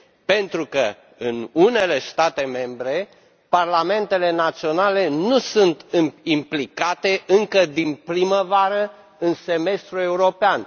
Pentru că în unele state membre parlamentele naționale nu sunt implicate încă din primăvară în semestrul european.